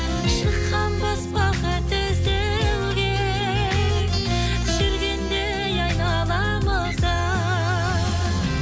шыққанбыз бақыт іздеуге жүргендей айналамызда